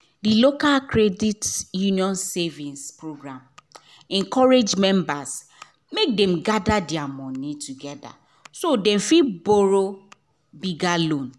d local credit union savings program encourage members make dem gather their money together so dem fit borrow bigger loan